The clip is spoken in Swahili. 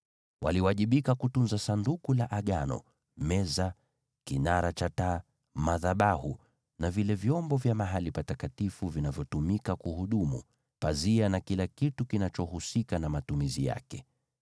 Waliwajibika kutunza Sanduku la Agano, meza, kinara cha taa, madhabahu, na vile vyombo vya mahali patakatifu vinavyotumika kuhudumu, pazia, na kila kitu kinachohusika na matumizi yake.